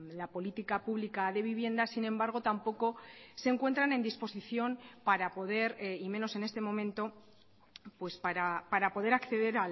la política pública de vivienda sin embargo tampoco se encuentran en disposición para poder y menos en este momento para poder acceder